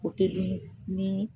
O teli ye nii